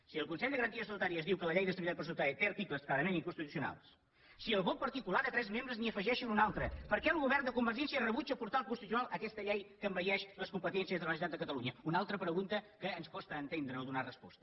si el consell de garanties estatutàries diu que la llei d’estabilitat pressupostària té articles clarament inconstitucionals si el vot particular de tres membres n’hi afegeixen un altre per què el govern de convergència rebutja portar al constitucional aquesta llei que envaeix les competències de la generalitat de catalunya una altra pregunta que ens costa entendre o donar hi resposta